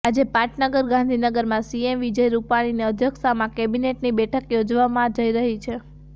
આજે પાટનગર ગાંધીનગરમાં સીએમ વિજય રૂપાણીની અધ્યક્ષતામા કેબિનેટની બેઠક યોજાવવા જઈ રહી છે